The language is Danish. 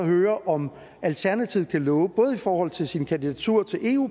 høre om alternativet kan love både i forhold til sin kandidatur til